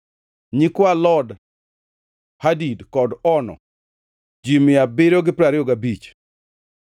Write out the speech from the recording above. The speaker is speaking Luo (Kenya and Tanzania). nyikwa Lod, Hadid kod Ono, ji mia abiriyo gi piero ariyo gabich (725),